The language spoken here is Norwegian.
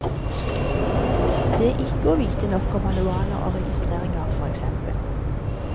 Det ikke å vite nok om manualer og registreringer, for eksempel.